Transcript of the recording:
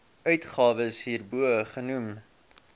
uitgawes hierbo genoem